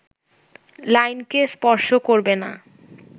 লাইনকে স্পর্শ করবে না